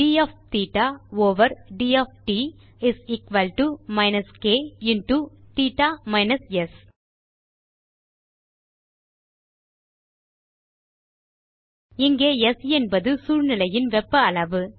T of theta over D of T is equal to minus K into theta minus S இங்கே S என்பது சூழ்நிலையின் வெப்ப அளவு